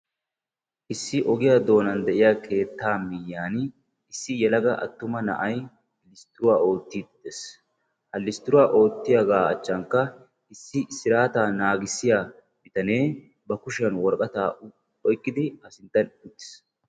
Issi ogiyaan doonan de'iya keetta miyyiyan issi yelaga attuma na'ay listtiruwa oottide de"es. Ha listtiruwa oottiyaaga achchankka issi sirataa naagissiya bitanee ba kushiyaan woraqata oyqqidi a sinttan uttiis.